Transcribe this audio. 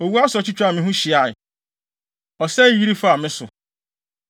Owu asorɔkye twaa me ho hyiae; ɔsɛe yiri faa me so.